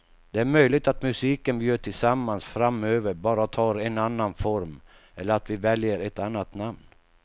Det är möjligt att musiken vi gör tillsammans framöver bara tar en annan form eller att vi väljer ett annat namn.